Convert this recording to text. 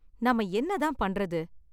நாம என்ன தான் பண்றது?